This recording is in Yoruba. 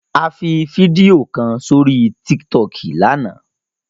A fi fídíò kan sórí Tiktok mi lánàá.